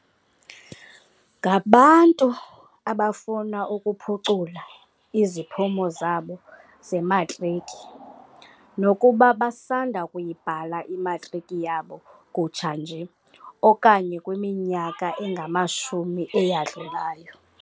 Ngabantu abafuna ukuphucula iziphumo zabo zematriki, nokuba basanda kuyibhala imatriki yabo kutsha nje okanye kwiminyaka engamashumi eyadlulayo.